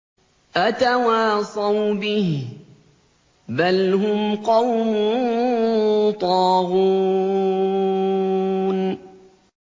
أَتَوَاصَوْا بِهِ ۚ بَلْ هُمْ قَوْمٌ طَاغُونَ